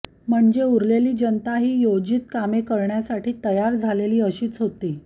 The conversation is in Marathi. म्हणजे उरलेली जनता ही योजित कामे करण्यासाठी तयार झालेली अशीच होती